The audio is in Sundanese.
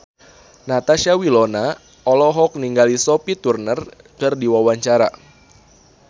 Natasha Wilona olohok ningali Sophie Turner keur diwawancara